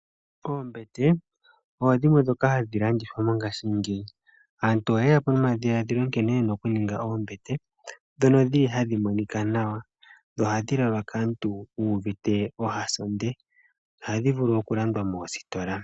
Oombete odho dhimwe ndhoka hadhi landithwa mongashingeyi. Aantu oyeyapo nomadhiladhilo nkene yena okuninga oombete ndhono dhili hadhi vulu okulalwa kaantu yu uvite ohasondo. Ohadhi vulu okulandwa moositola.